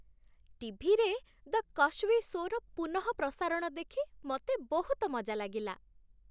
ଟି.ଭି.ରେ "the କସ୍ବୀ ଶୋ"ର ପୁନଃପ୍ରସାରଣ ଦେଖି ମୋତେ ବହୁତ ମଜା ଲାଗିଲା।